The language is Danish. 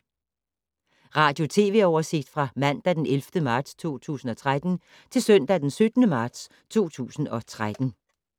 Radio/TV oversigt fra mandag d. 11. marts 2013 til søndag d. 17. marts 2013